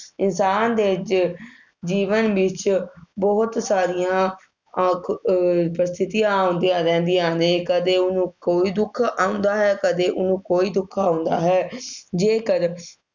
ਇਨਸਾਨ ਦੇ ਵਿੱਚ, ਜੀਵਨ ਵਿੱਚ ਬਹੁਤ ਸਾਰੀਆਂ ਆ~ ਅਹ ਪ੍ਰਸਥਿਤੀਆਂ ਆਉਂਦੀਆਂ ਰਹਿੰਦੀਆਂ ਨੇ। ਕਦੇ ਉਹਨੂੰ ਕੋਈ ਦੁੱਖ ਆਉਂਦਾ ਹੈ, ਕਦੇ ਉਹਨੂੰ ਕੋਈ ਦੁੱਖ ਆਉਂਦਾ ਹੈ, ਜੇਕਰ